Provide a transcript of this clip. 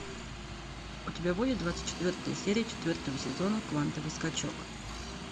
у тебя будет двадцать четвертая серия четвертого сезона квантовый скачок